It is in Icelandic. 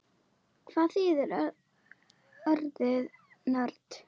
Hvað þýðir orðið nörd?